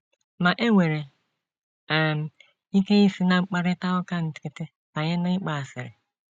Ma, e nwere um ike isi ná mkparịta ụka nkịtị banye n’ịgba asịrị.